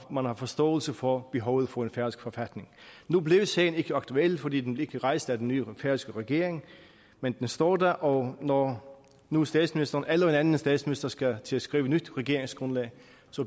man har forståelse for behovet for en færøsk forfatning nu blev sagen ikke aktuel fordi den ikke blev rejst af den nye færøske regering men den står der og når nu statsministeren eller en anden statsminister skal til at skrive et nyt regeringsgrundlag